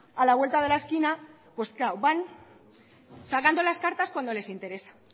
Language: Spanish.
a la vuelta de la esquina claro van sacando las cartas cuando les interesa